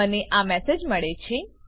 મને આ મેસેજ મળે છે